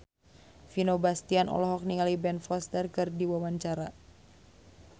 Vino Bastian olohok ningali Ben Foster keur diwawancara